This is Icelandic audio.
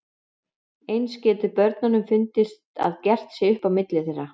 Eins getur börnunum fundist að gert sé upp á milli þeirra.